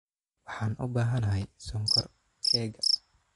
Waxaan u baahanahay sonkor keega.